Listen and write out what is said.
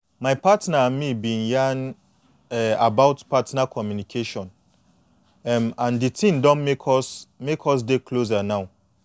my partner and me been yan um about partner communication um and the thin don make us make us dey closer now